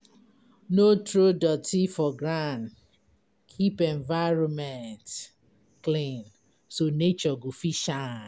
No throw dirty for ground, keep environment clean so nature go fit shine.